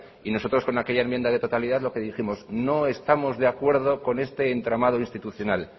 y nosotros con aquellas enmienda de totalidad lo que dijimos no estamos de acuerdo con este entramado institucional